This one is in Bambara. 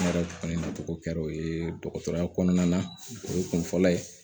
Ne yɛrɛ kɔni tɔgɔ kɛra o ye dɔgɔtɔrɔya kɔnɔna na o ye kun fɔlɔ ye